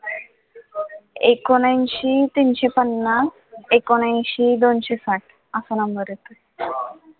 एकोणऐंशी तीनशे पन्नास एकोणऐंशी दोनशे साठ असा number आहे तो.